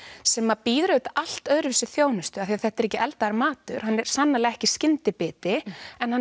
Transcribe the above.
sem býður upp á allt öðruvísi þjónustu því að þetta er ekki eldaður matur hann er sannarlega ekki skyndibiti en hann